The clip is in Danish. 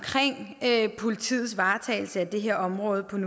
politiets nuværende varetagelse af det her område